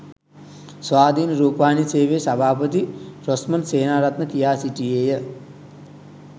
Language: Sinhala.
ස්වාධීන රුපවාහිනී සේවයේ සභාපති රොස්මන්ඩ් සේනාරත්න කියා සිටියේය